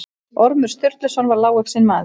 Ormur Sturluson var lágvaxinn maður.